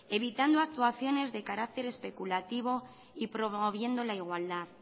evitando actuaciones de carácter especulativo y promoviendo la igualdad